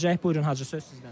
Buyurun, Hacı söz sizdədir.